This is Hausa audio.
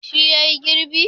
Shi yayi girbi?